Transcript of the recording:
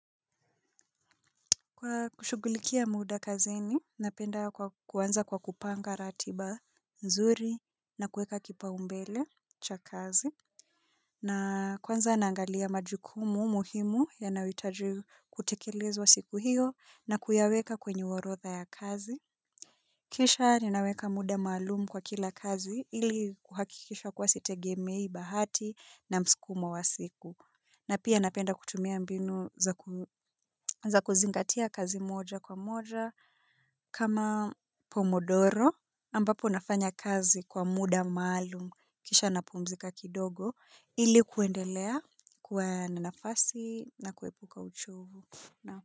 Kwa kushughulikia muda kazini, napenda kwa kuanza kwa kupanga ratiba nzuri na kuweka kipa umbele cha kazi. Na kwanza naangalia majukumu muhimu yanayo hitaji kutekelezwa siku hiyo na kuyaweka kwenye orodha ya kazi. Kisha ninaweka muda maalumu kwa kila kazi ili kuhakikisha kuwa sitegemei bahati na msukumo wa siku. Na pia napenda kutumia mbinu za kuzingatia kazi moja kwa moja kama pomodoro ambapo nafanya kazi kwa muda maalum kisha na pumzika kidogo ilikuendelea kuwa na nafasi na kuepuka uchovu.